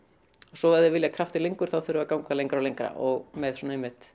svo ef þeir vilja kraftinn lengur þurfa þeir að ganga lengra og lengra og með svona einmitt